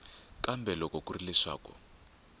kambe loko ku ri leswaku